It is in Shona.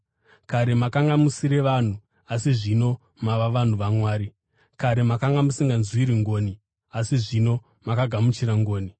Kare makanga musiri vanhu, asi zvino mava vanhu vaMwari; kare makanga musinganzwirwi ngoni, asi zvino makagamuchira ngoni.